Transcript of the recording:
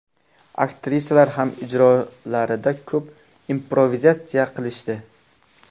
Aktrisalar ham ijrolarida ko‘p improvizatsiya qilishdi.